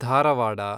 Dharwad